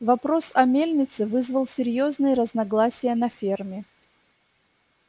вопрос о мельнице вызвал серьёзные разногласия на ферме